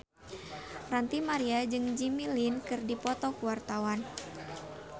Ranty Maria jeung Jimmy Lin keur dipoto ku wartawan